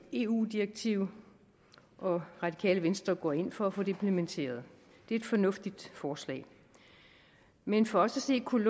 eu direktiv og radikale venstre går ind for at få det implementeret det er et fornuftigt forslag men for os at se kunne